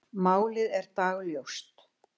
Málið er dagljóst.